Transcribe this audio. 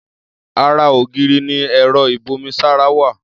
Ara ògiri ni ẹ̀rọ ìbomisára wà.